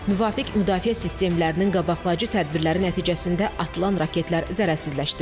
Müvafiq müdafiə sistemlərinin qabaqlayıcı tədbirləri nəticəsində atılan raketlər zərərsizləşdirilib.